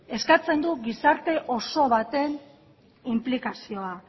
eskatzen du gizarte oso baten inplikazioa